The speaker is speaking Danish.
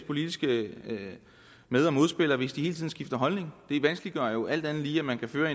politiske med og modspillere hvis de hele tiden skifter holdning det vanskeliggør jo alt andet lige at man kan føre